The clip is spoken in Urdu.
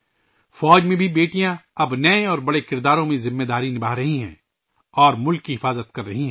فوج میں بھی اب بیٹیاں نئے اور بڑے کرداروں میں ذمہ داریاں نبھا رہی ہیں اور ملک کی حفاظت کر رہی ہیں